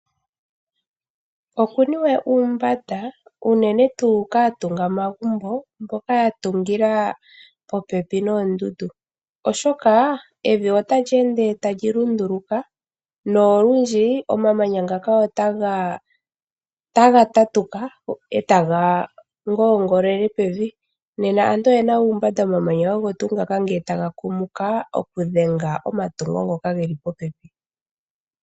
Okuniwe uumbanda unene tuu kaatungamagumbo mboka ya tungila popepi noondundu, oshoka evi otali ende tali lunduluka nolundji omamanya ngaka otaga tatuka e taga ngoongolele pevi. Aantu oye na uumbanda uuna omamanya ogo tuu ngaka taga kumuka okudhenga omatungo ngoka ge li popepi.